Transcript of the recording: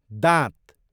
दाँत